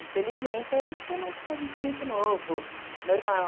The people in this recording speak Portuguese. Infelizmente, eu acho que é mais porque a gente é muito novo, normal.